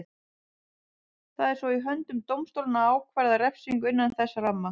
Það er svo í höndum dómstólanna að ákvarða refsingu innan þess ramma.